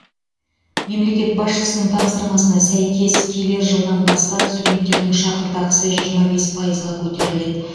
мемлекет басшысының тапсырмасына сәйкес келер жылдан бастап студенттердің шәкіртақысы жиырма бес пайызға көтеріледі